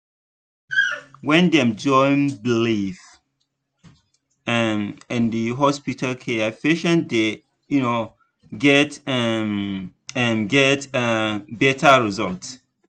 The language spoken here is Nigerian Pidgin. when dem join belief um and hospital care patients dey um get um um get um better results.